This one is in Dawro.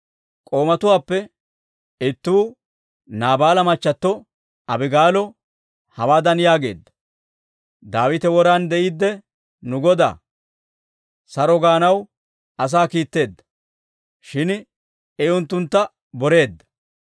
K'oomatuwaappe ittuu Naabaala machchato Abigaalo hawaadan yaageedda; «Daawite woran de'iidde nu godaa, ‹Saro› gaanaw asaa kiitteedda; shin I unttuntta boreedda.